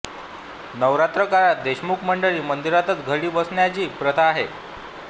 नवरात्र काळात देशमुख मंडळी मंदिरातच घटी बसण्याची प्रथा आहे